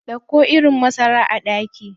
Dauko irin masara a daki.